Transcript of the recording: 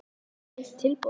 Ekki beint tilboð.